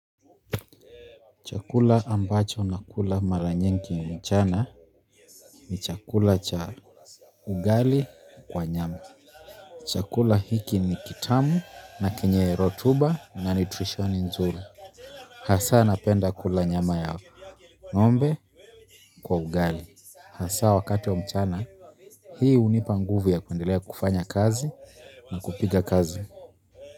Chakula ambacho na kula maranyingi mchana ni chakula cha ugali kwa nyama. Chakula hiki ni kitamu na kenye rotuba na nitrisho ni nzuri. Hasa napenda kula nyama ya ng'ombe kwa ugali hasa wakati wa mchana. Hii hunipa nguvu ya kwendelea kufanya kazi na kupiga kazi.